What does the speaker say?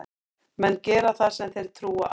Menn gera það sem þeir trúa á.